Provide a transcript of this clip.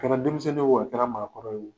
Kɛra denmisɛnnin ye o, a kɛra maakɔrɔ ye o